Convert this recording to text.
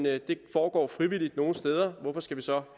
at det foregår frivilligt nogle steder og hvorfor skal vi så